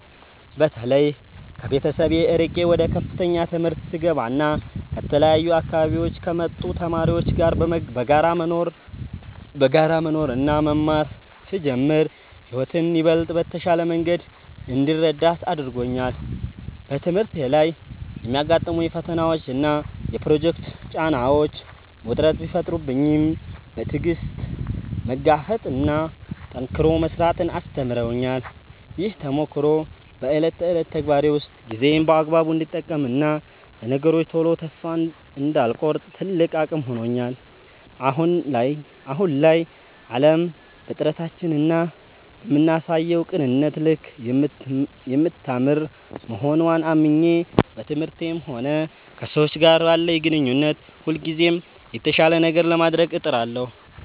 በተለይ ከቤተሰብ ርቄ ወደ ከፍተኛ ትምህርት ስገባና ከተለያዩ አካባቢዎች ከመጡ ተማሪዎች ጋር በጋራ መኖርና መማር ስጀምር ሕይወትን ይበልጥ በተሻለ መንገድ እንድረዳት አድርጎኛል። በትምህርቴ ላይ የሚያጋጥሙኝ ፈተናዎችና የፕሮጀክት ጫናዎች ውጥረት ቢፈጥሩብኝም፣ በትዕግሥት መጋፈጥንና ጠንክሮ መሥራትን አስተምረውኛል። ይህ ተሞክሮ በዕለት ተዕለት ተግባሬ ውስጥ ጊዜዬን በአግባቡ እንድጠቀምና ለነገሮች ቶሎ ተስፋ እንዳልቆርጥ ትልቅ አቅም ሆኖኛል። አሁን ላይ ዓለም በጥረታችንና በምናሳየው ቅንነት ልክ የምታምር መሆንዋን አምኜ፣ በትምህርቴም ሆነ ከሰዎች ጋር ባለኝ ግንኙነት ሁልጊዜም የተሻለ ነገር ለማድረግ እጥራለሁ።